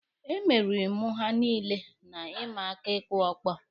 E meriri mụ ha niile na ịma aka ịkụ ọkpọ.